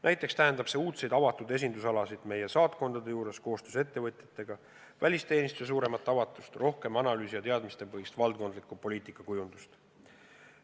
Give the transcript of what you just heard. Näiteks tähendab see uudseid avatud esindusalasid meie saatkondade juures koostöös ettevõtjatega, välisteenistuse suuremat avatust, rohkem analüüsi- ja teadmispõhist valdkondlikku poliitikakujundust.